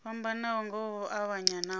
fhambanaho nga u avhanya nahone